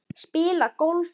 Spila golf?